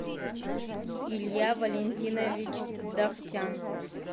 илья валентинович давтян